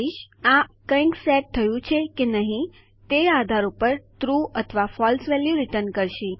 આ મૂળભૂત રીતે કંઈક સેટ થયું છે કે નહી તે આધાર ઉપર આ ટ્રૂ અથવા ફળસે વેલ્યુ રીટર્ન કરશે